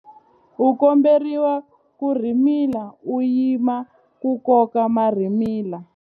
U komberiwa ku rhimila u yima ku koka marhimila.